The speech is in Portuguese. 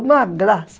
Uma graça.